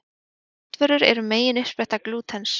Kornvörur eru megin uppspretta glútens.